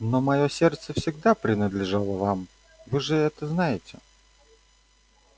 но моё сердце всегда принадлежало вам вы же это знаете